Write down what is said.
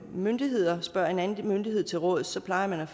myndigheder spørger en anden myndighed til råds plejer